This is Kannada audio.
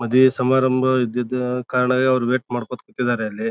ಮದ್ವೆ ಸಮಾರಂಭ ಇದ್ದಿದ್ ಕಾರಣ ಅಲ್ಲಿ ವೇಟ್ ಮಾಡ್ಕೋತಾ ಕೂತಿದ್ದಾರೆ ಅಲ್ಲಿ.